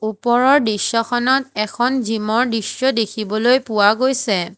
ওপৰৰ দৃশ্যখনত এখন জীম ৰ দৃশ্য দেখিবলৈ পোৱা গৈছে।